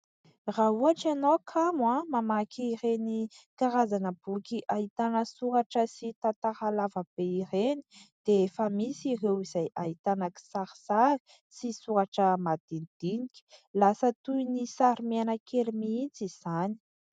Raha ohatra ianao kamo mamaky ireny karazana boky ahitana soratra sy tantara lavabe ireny dia efa misy ireo izay ahitana kisarisary sy soratra madinidinika. Lasa toy ny sary mihaina kely mihitsy izany.